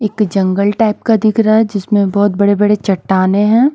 एक जंगल टाइप का दिख रहा है जिसमें बहुत बड़े-बड़े चट्टाने हैं।